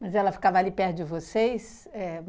Mas ela ficava ali perto de vocês? Éh